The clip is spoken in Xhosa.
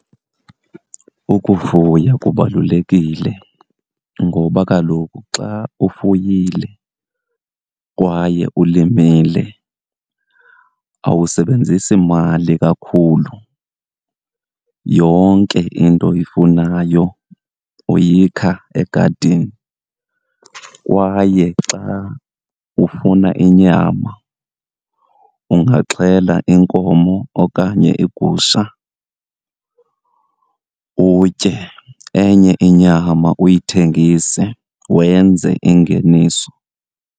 Ukufuya kubalulekile ngoba kaloku xa ufuyile kwaye ulimile awusebenzisi mali kakhulu, yonke into oyifunayo uyikha egadini. Kwaye xa ufuna inyama ungaxhela inkomo okanye igusha utye, enye inyama uyithengise wenze ingeniso.